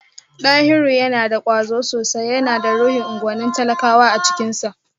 Dahiru yana da kwazo sosai, yana da ruhin unguwannin talakawa a cikinsa